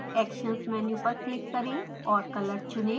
actions menu पर click करें और color चुनें